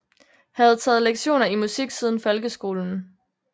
Havde taget lektioner i musik siden folkeskolen